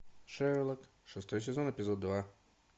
шерлок шестой сезон эпизод два